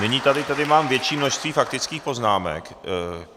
Nyní tady mám větší množství faktických poznámek.